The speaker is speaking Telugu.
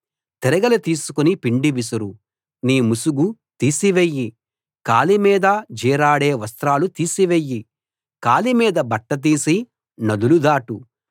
తిరగలి తీసుకుని పిండి విసురు నీ ముసుగు తీసివెయ్యి కాలి మీద జీరాడే వస్త్రాలు తీసివెయ్యి కాలి మీది బట్ట తీసి నదులు దాటు